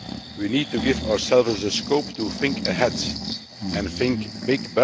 We need to give ourselves the scope to think ahead and think big.